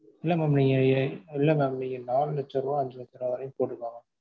இல்ல mam நீங்க இல்ல mam நீங்க நாலு லட்சருபா அஞ்சு லட்சருபா வரைக்கும் போட்டாதான்